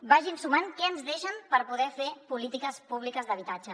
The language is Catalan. vagin sumant què ens deixen per poder fer polítiques públiques d’habitatge